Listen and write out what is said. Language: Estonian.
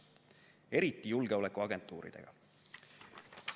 Eriti julgeolekuagentuuridega.